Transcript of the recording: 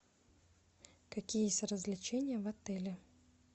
какие есть развлечения в отеле